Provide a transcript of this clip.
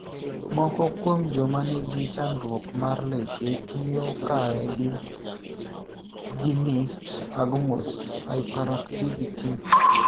Moko kuom joma ni gi chandruok mar leche tiyo kare gi ginyst agmus; hyperactivity;